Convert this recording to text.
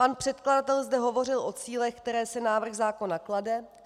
Pan předkladatel zde hovořil o cílech, které si návrh zákona klade.